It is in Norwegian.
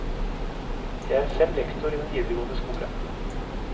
Jeg er selv lektor i den videregående skole.